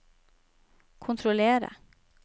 kontrollere